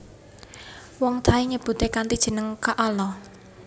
Wong Thai nyebute kanthi jeneng kaalaa